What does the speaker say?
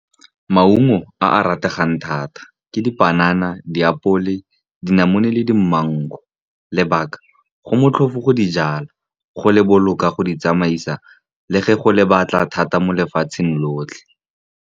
Maungo a a rategang thata ke dipanana, diapole, dinamune le di-mangu. Lebaka, go motlhofo go dijala, go loboka, go di tsamaisa, le fa go le batla thata mo lefatsheng lotlhe.